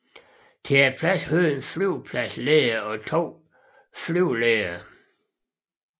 Til pladsen hørte en flyvepladsleder og to flyveledere